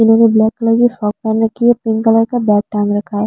इन्होंने black colour की frock पैन रखी है पिंक कलर का बैक टांग रखा है।